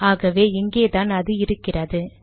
ஆகவே இங்கேதான் அது இருக்கிறது